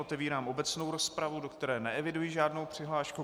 Otevírám obecnou rozpravu, do které neeviduji žádnou přihlášku.